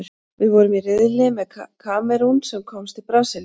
Við vorum í riðli með Kamerún, sem komst til Brasilíu.